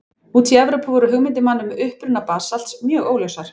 Úti í Evrópu voru hugmyndir manna um uppruna basalts mjög óljósar.